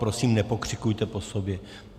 Prosím, nepokřikujte po sobě.